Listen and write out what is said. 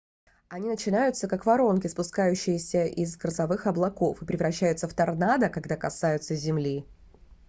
они начинаются как воронки спускающиеся из грозовых облаков и превращаются в торнадо когда касаются земли